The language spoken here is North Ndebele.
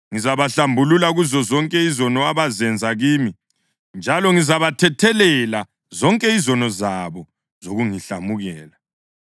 Ngizabahlambulula kuzozonke izono abazenza kimi njalo ngizabathethelela zonke izono zabo zokungihlamukela.